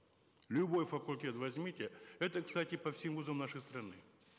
любой факультет возьмите это кстати по всем вузам нашей страны